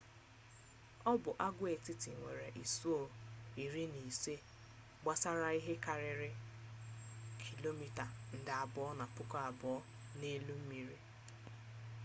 ọ bụ agwaetiti nwere isuo iri na ise gbasara ihe karịrị kilomita nde abụo na puku abụọ n'elu mmiri